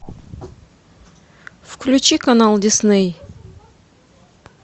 включи канал дисней